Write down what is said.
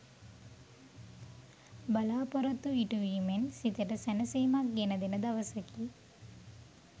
බලා‍පොරොත්තු ඉටුවීමෙන් සිතට සැනසීමක් ගෙන දෙන දවසකි.